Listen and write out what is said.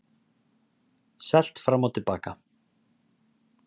Selt fram og til baka